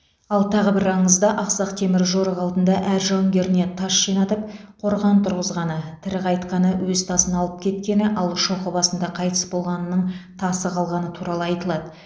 ал тағы бір аңызда ақсақ темір жорық алдында әр жауынгеріне тас жинатып қорған тұрғызғаны тірі қайтқаны өз тасын алып кеткені ал шоқы басында қайтыс болғанының тасы қалғаны туралы айтылады